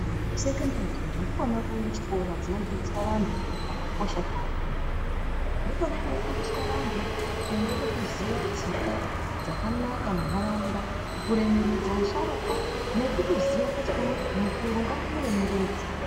Kusekondari iyo ndikwona kuchikora kunodzidziswa vantu zviro zvakakosha zveupenyu. Ndikona kunofundiswa vantu kuunge vechiziya tsika dzakanaka munharaunda. Kuremekedza asharukwa nekutoziya kuti uyu muntu mukuru ngandimuremeredze.